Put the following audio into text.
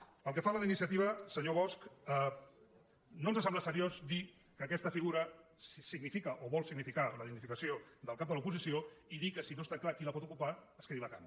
pel que fa a la d’iniciativa senyor bosch no ens sembla seriós dir que aquesta figura significa o vol significar la dignificació del cap de l’oposició i dir que si no està clar qui la pot ocupar es quedi vacant